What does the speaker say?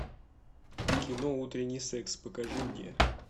кино утренний секс покажи мне